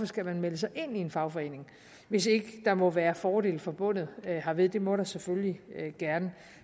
skal melde sig ind i en fagforening hvis ikke der må være fordele forbundet hermed det må der selvfølgelig gerne